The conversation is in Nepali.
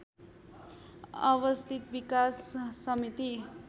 अवस्थित विकास समिति